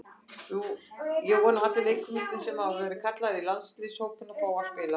Ég vona að allir leikmennirnir sem hafa verið kallaðir í landsliðshópa fái að spila.